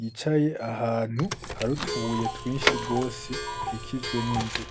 yicaye ahantu hari utubuye twinshi gose ikikijwe n'inzu